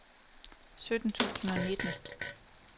sytten tusind og nitten